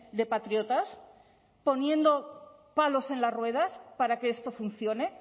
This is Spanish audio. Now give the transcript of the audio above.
de patriotas poniendo palos en las ruedas para que esto funcione